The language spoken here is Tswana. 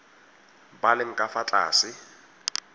ba leng ka fa tlase